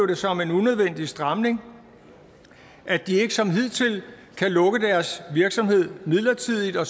det som en unødvendig stramning at de ikke som hidtil kan lukke deres virksomheder midlertidigt og